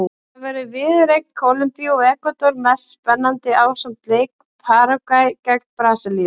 Þar verður viðureign Kólumbíu og Ekvador mest spennandi ásamt leik Paragvæ gegn Brasilíu.